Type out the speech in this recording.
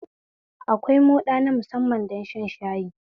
Akwai moɗa na musamman don shan shayi